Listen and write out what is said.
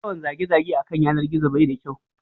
Yawan zage zage a kan yanar gizo bai da kyau